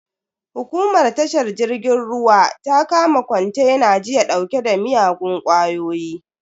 Hukumar tashar jirgin ruwa ta kama kontena jiya dauke da miyagun kwayoyi.